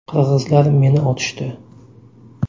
Qirg‘izlar meni otishdi.